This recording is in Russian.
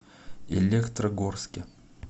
электрогорске